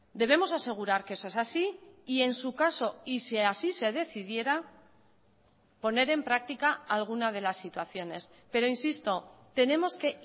debemos asegurar que eso es así y en su caso y si así se decidiera poner en práctica alguna de las situaciones pero insisto tenemos que